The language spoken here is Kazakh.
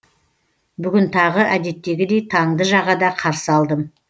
бүгін тағы әдеттегідей таңды жағада қарсы алдым